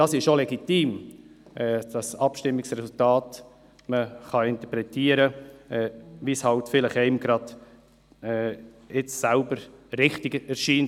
Es ist auch legitim, dass man Abstimmungsresultate so interpretieren kann, wie es einem selbst gerade richtig erscheint.